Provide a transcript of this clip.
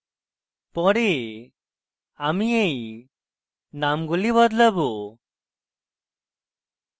পরে আমি এই নামগুলি বদলাবো